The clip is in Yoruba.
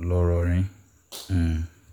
ńlọrọrìn um